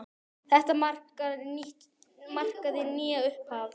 Þetta markaði nýtt upphaf.